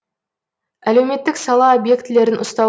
әлеуметтік сала объектілерін ұстау